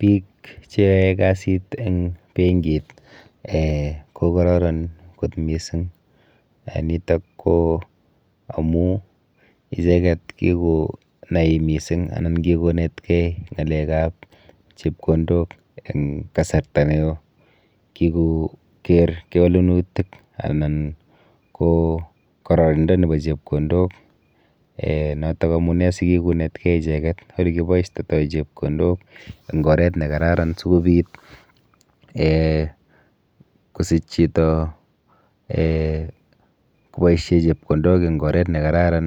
Biik cheyoe kasit eng benkit um kokororon kot mising. Nitok ko amu icheket kikonai mising anan kikonetkei ng'alekap chepkondok eng kasarta neo, kikoker kewelenutik anan ko kororindo nepo chepkondok um notok amune si kikonetkei ichendet olekiboishtotoi chepkondok eng oret nekararan sikobit um kosich chito um kopoishe chepkondok eng oret nekararan